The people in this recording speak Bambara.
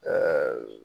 Ɛɛ